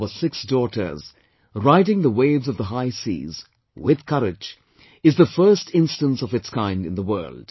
Our six daughters riding the waves of the high seas, with courage, is the first instance of its kind in the world